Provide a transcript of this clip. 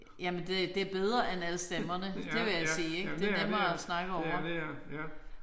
Jamen det det bedre end alle stemmerne det vil jeg sige det er nemmere at snakke over